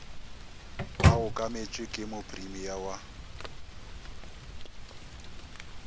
ba okametšwe ke mopremia wa